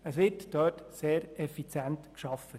Dort wird sehr effizient gearbeitet.